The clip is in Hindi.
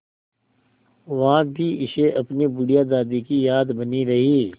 वहाँ भी इसे अपनी बुढ़िया दादी की याद बनी रही